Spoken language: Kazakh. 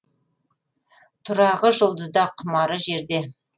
тұрағы жұлдызда құмары жерде